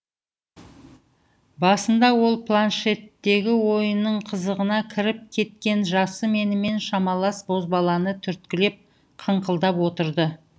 басында ол планшеттегі ойынның қызығына кіріп кеткен жасы менімен шамалас бозбаланы түрткілеп қыңқылдап отырды